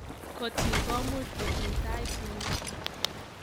Kot ni komuch kotiny tait ne nyalil